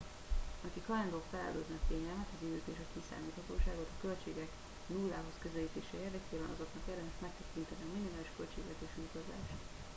akik hajlandóak feláldozni a kényelmet az időt és a kiszámíthatóságot a költségek nullához közelítése érdekében azoknak érdemes megtekinteni a minimális költségvetésű utazást